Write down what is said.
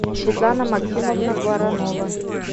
светлана максимовна воронова